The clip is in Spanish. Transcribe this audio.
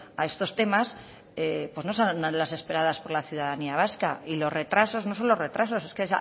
a estos temas pues no son las esperadas por la ciudadanía vasca y los retrasos no son los retrasos es que